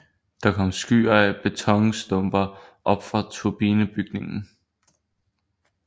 Der kom skyer af betonstumper op fra turbinebygningen